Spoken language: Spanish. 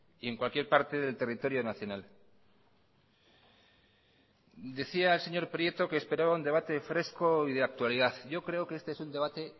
y en cualquier parte del territorio nacional decía el señor prieto que esperaba un debate fresco y de actualidad yo creo que este es un debate